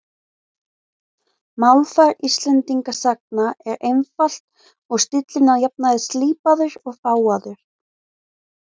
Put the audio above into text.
Málfar Íslendingasagna er einfalt og stíllinn að jafnaði slípaður og fágaður.